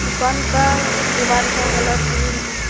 दुकान का दीवार का कलर ग्रीन है।